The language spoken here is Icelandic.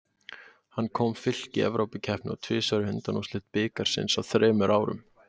Hann kom Fylki í evrópukeppni og tvisvar í undanúrslit bikarsins á þremur árum??